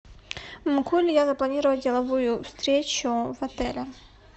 могу ли я запланировать деловую встречу в отеле